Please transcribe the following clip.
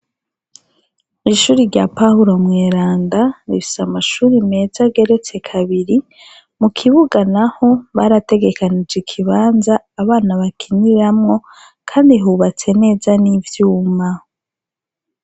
ishuri rya Pahulo mweranda rifise amashuri meza ageretse kabiri, mu kibuga naho barategekanije ikibanza abana bakiniramwo, kandi hubatse neza n'ivyuma.